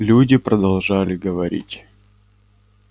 люди продолжали говорить